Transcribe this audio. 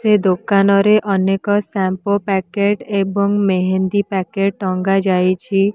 ଏ ଦୋକାନରେ ଅନେକ shampoo packet ଏବଂ ମେହେନ୍ଦି ପାକେଟ ଟଙ୍ଗା ହେଇଚି ।